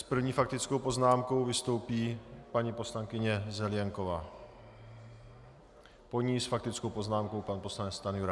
S první faktickou poznámkou vystoupí paní poslankyně Zelienková, po ní s faktickou poznámkou pan poslanec Stanjura.